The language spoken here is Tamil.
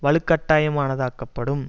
வலுக்கட்டாயமானதாக்கப்படும்